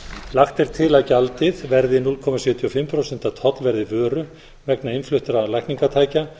lagt er til að gjaldið verði núll komma sjötíu og fimm prósent af tollverði vöru vegna innfluttra lækningatækja